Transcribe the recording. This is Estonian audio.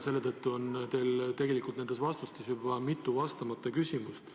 Selle tõttu on teil tegelikult nendes vastustes jäänud vastamata mitu küsimust.